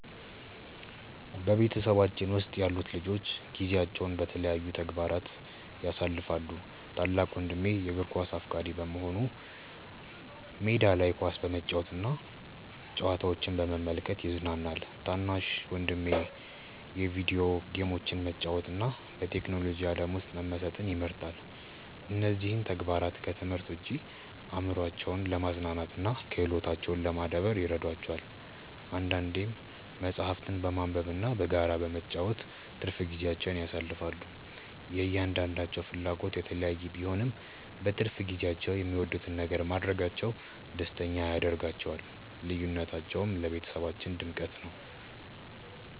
በቤተሰባችን ውስጥ ያሉት ልጆች ጊዜያቸውን በተለያዩ ተግባራት ያሳልፋሉ። ታላቅ ወንድሜ የእግር ኳስ አፍቃሪ በመሆኑ ሜዳ ላይ ኳስ በመጫወትና ጨዋታዎችን በመመልከት ይዝናናል። ታናሹ ደግሞ የቪዲዮ ጌሞችን መጫወትና በቴክኖሎጂ ዓለም ውስጥ መመሰጥ ይመርጣል። እነዚህ ተግባራት ከትምህርት ውጭ አእምሯቸውን ለማዝናናትና ክህሎታቸውን ለማዳበር ይረዷቸዋል። አንዳንዴም መጽሐፍትን በማንበብና በጋራ በመጫወት ትርፍ ጊዜያቸውን ያሳልፋሉ። የእያንዳንዳቸው ፍላጎት የተለያየ ቢሆንም፣ በትርፍ ጊዜያቸው የሚወዱትን ነገር ማድረጋቸው ደስተኛ ያደርጋቸዋል። ልዩነታቸው ለቤተሰባችን ድምቀት ነው።